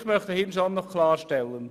Ich möchte hier noch etwas klarstellen.